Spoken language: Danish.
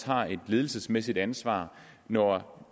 har et ledelsesmæssigt ansvar når